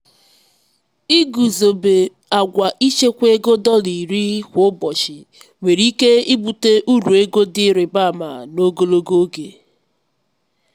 iguzobe agwa ichekwa ego dọla iri kwa ụbọchị nwere ike ibute uru ego dị ịrịba ama n'ogologo oge.